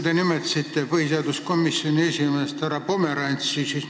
Te nimetasite siin põhiseaduskomisjoni esimeest härra Pomerantsi.